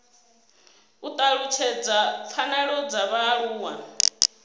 u talutshedza pfanelo dza vhaaluwa